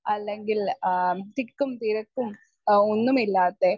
speaker 1 അല്ലെങ്കിൽ ആഹ് തിക്കും തിരക്കും ഇഹ് ഒന്നുമില്ലാത്തെ